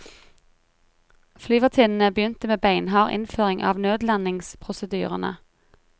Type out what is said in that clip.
Flyvertinnene begynte med beinhard innføring av nødlandingsprosedyrene.